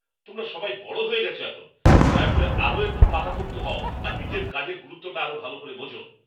তোমরা সবাই বড় হয়ে গেছ এখন! দয়া করে আরও একটু পাকাপোক্ত হও আর নিজের কাজের গুরুত্বটা আরও ভালো করে বোঝো।